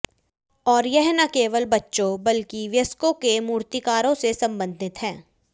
और यह न केवल बच्चों बल्कि वयस्कों के मूर्तिकारों से संबंधित है